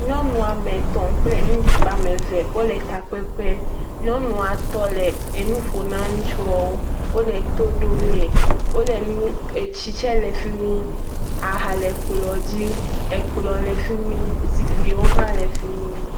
Nyɔnu ame tɔ̃ kple ŋutsu ame eve wole takpekpe. Nyɔnua tɔ le enu ƒo na ŋutsuɔwo. Wole to ɖomee. Wole nu, etsi tsɛ le fi mi. Aha le kplɔ̃ dzi. Ekplɔ̃ le fi mi. zikpiwo hã le fi mi.